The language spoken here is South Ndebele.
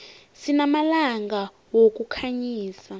sinamalampa wokukhanyisa